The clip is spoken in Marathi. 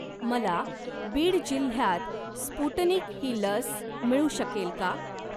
मला बीड जिल्ह्यात स्पुटनिक ही लस मिळू शकेल का?